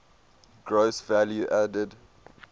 gross value added